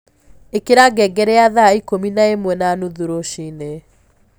ĩkĩra ngengere ya thaa ĩkũmĩ na ĩmwe na nũthũ rũcĩĩnĩ